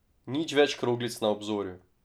Nič več kroglic na obzorju.